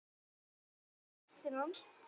Sigga var stóra ástin hans.